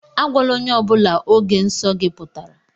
Agwala ónyé ọbula ógè nsọ gị pụtara!